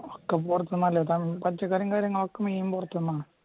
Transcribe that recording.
ഒക്കെ പൊറത്തുന്ന കാര്യങ്ങളൊക്കെ പൊറത്തുന്ന